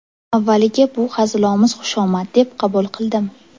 Avvaliga bu hazilomuz xushomad deb qabul qildim.